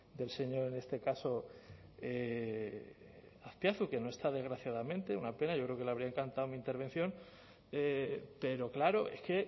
del señor en este caso azpiazu que no está desgraciadamente una pena yo creo que le habría encantado mi intervención pero claro es que